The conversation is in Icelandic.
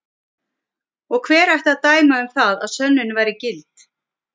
Og hver ætti að dæma um það að sönnunin væri gild?